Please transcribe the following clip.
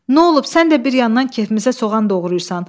Nə olub, sən də bir yandan kefimizə soğan doğrayırsan?